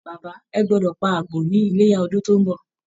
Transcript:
Bàbá, ẹ gbọdọ̀ pa àgbò ní Iléyá ọdún tó ń bọ̀!